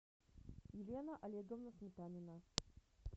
елена олеговна сметанина